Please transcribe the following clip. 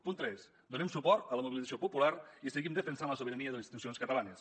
punt tres donem suport a la mobilització popular i seguim defensant la sobirania de les institucions catalanes